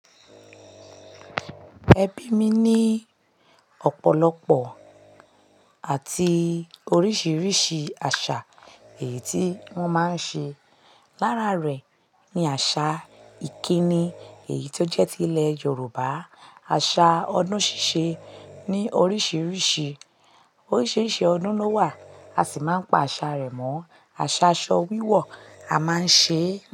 Ẹbí mi ní ọ̀pọ̀lọpọ̀ àti oríṣìíríṣìí àṣà èyí tí wọ́n máa ń ṣe. Lára rẹ̀ ni àṣà ìkíni èyí tó jẹ́ ti ilẹ̀ Yorùbá. Àṣà odun sise ni oríṣìíríṣìí, oríṣìíríṣìí ọ̀dun ló wà a sì máa ń pa àṣà rẹ̀ mọ̀. Àṣà aṣọ wíwọ̀ a máa ń ṣe.